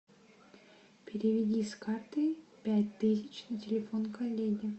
переведи с карты пять тысяч на телефон коллеги